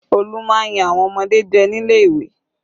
Olu máa ń yan àwọn ọmọdé jẹ nílé ìwé